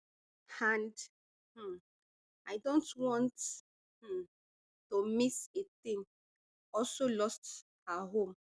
and um i dont want um to miss a thing also lost her home